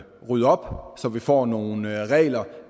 rydde op så vi får nogle regler